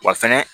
Wa fɛnɛ